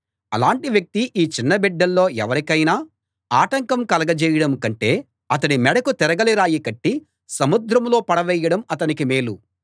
అలాంటి వ్యక్తి ఈ చిన్న బిడ్డల్లో ఎవరికైనా ఆటంకం కలగజేయడం కంటే అతడి మెడకు తిరగలి రాయి కట్టి సముద్రంలో పడవేయడం అతనికి మేలు